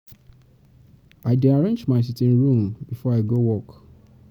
I dey arrange my sitting room before I go work.